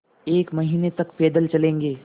एक महीने तक पैदल चलेंगे